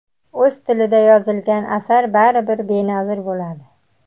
O‘z tilida yozilgan asar baribir benazir bo‘ladi.